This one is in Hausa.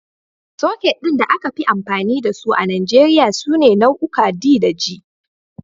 Soket ɗin da aka fi amfani da su a Nijeriya sune nau'uka D da G.